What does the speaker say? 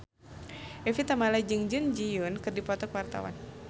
Evie Tamala jeung Jun Ji Hyun keur dipoto ku wartawan